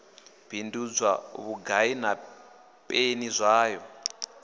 bindudzwa vhugai na peni zwayo